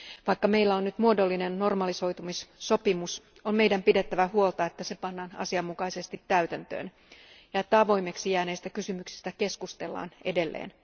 Vaikka meillä on nyt muodollinen normalisoitumissopimus, on meidän pidettävä huolta, että se pannaan asianmukaisesti täytäntöön ja että avoimeksi jääneistä kysymyksistä keskustellaan edelleen.